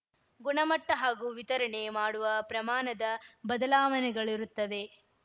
ಗುಣಮಟ್ಟಹಾಗೂ ವಿತರಣೆ ಮಾಡುವ ಪ್ರಮಾಣದ ಬದಲಾವಣೆಗಳಿರುತ್ತವೆ